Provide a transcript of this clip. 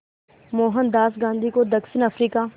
मोहनदास गांधी को दक्षिण अफ्रीका